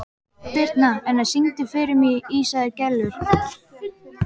Birtna, syngdu fyrir mig „Ísaðar Gellur“.